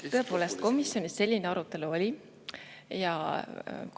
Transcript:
Tõepoolest, komisjonis selline arutelu oli ja